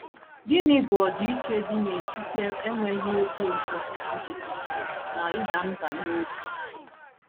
Gịnị bụ ọdịiche dị n’etiti enweghị obi ụtọ nkịtị na ịda mbà n’obi?